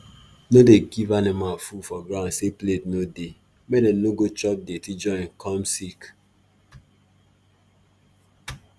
no dey give animal food for ground say plate no dey make dem no go chop dirty join come sick